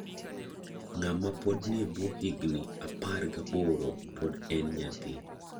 Ng'ama pod nie buo higni apar gaboro pod en nyathi.